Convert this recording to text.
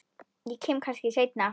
Ég kem kannski seinna